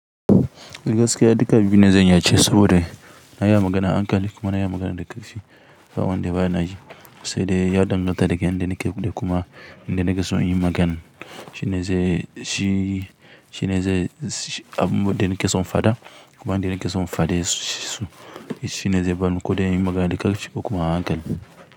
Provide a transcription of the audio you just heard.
Gaskiya duka biyu na zanya ce saboda na yi magana a hankali kuma na yi magana da ƙarfi. Ba wanda ba na yi, sai dai ya danganta daga yanda nake da kuma inda nake son inyi magana. Shi ne zai, shi, shi ne zai abu, inda nake son faɗa kuma inda nake son fade su. Shi ne zai bani ko dai yin magana da ƙarfi ko kuma a hankali.